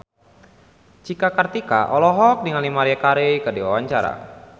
Cika Kartika olohok ningali Maria Carey keur diwawancara